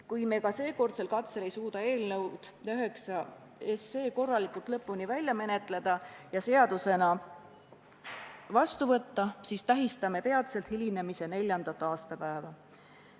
Kui me ka seekordsel katsel ei suuda eelnõu nr 9 korralikult lõpuni välja menetleda ja seadusena vastu võtta, siis tähistame peatselt hilinemise neljandat aastapäeva.